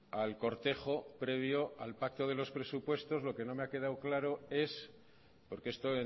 al cortejo previo al pacto de los presupuestos lo que no me ha quedado claro es porque esto